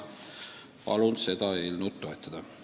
Palun seda eelnõu toetada!